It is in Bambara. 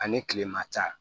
Ani kilema ta